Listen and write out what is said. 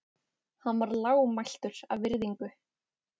Hann varð lágmæltur af virðingu.